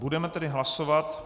Budeme tedy hlasovat.